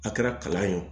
A kɛra kalan ye o